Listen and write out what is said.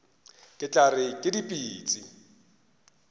re tla re ke dipitsi